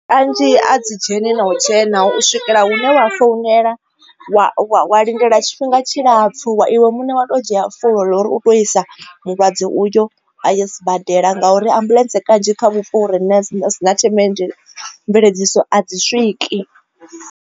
Kanzhi a dzi dzheni na u the na u swikela hu no vha founela wa lindela tshifhinga tshilapfhu iwe muṋe wa to dzhia fulo ḽa uri u tou isa mulwadze uyo a ye sibadela ngauri ambuḽentse kanzhi kha vhupo uri ni si na thema mveledziso a dzi swiki.